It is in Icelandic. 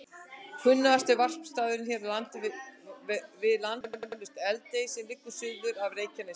Kunnasti varpstaðurinn hér við land er eflaust Eldey sem liggur suður af Reykjanesi.